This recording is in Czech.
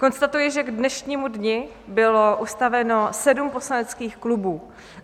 Konstatuji, že k dnešnímu dni bylo ustaveno sedm poslaneckých klubů.